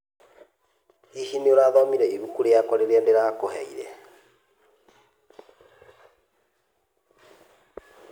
Hihi nĩũrathomĩre ĩbũkũ rĩakwa rĩrĩa ndĩrakũheĩre